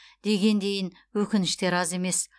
дегендейін өкініштер аз емес